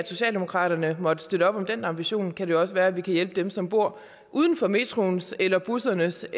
socialdemokratiet måtte støtte op om den ambition kan det også være at vi kan hjælpe dem som bor uden for metroens eller bussernes